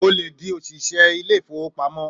Ò lè di òṣìṣẹ́ ilé ìfowópamọ́!